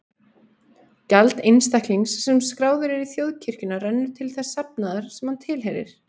Gjald einstaklings sem skráður er í þjóðkirkjuna rennur til þess safnaðar sem hann tilheyrir.